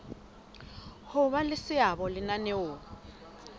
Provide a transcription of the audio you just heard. ho ba le seabo lenaneong